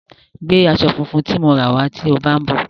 Gbé aṣọ funfun tí mo ra wá tí ó bá ń bọ̀.